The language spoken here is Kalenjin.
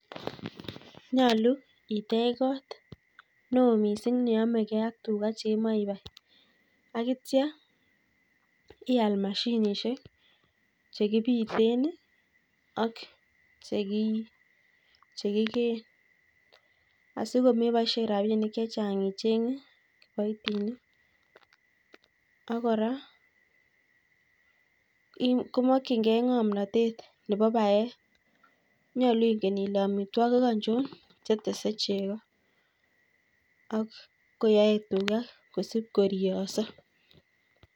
Nyolu itech kot neoo miising' neyamegei ak tuga cheimaibai akitcha ial mashinisiek chekibite ak chekigee. asikomeboisie rabinik chechang' icheng' paipinik akora komakchingei ng'omnatet nebo baet, nyolu ingen ile amitwogik ko chun chetese chego akoyae tuga kosipkoriyoso